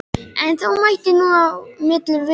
En þó mætti nú á milli vera.